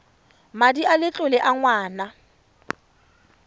madi a letlole a ngwana